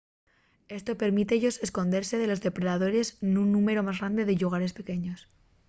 esto permíte-yos escondese de los depredadores nun númberu más grande de llugares pequeños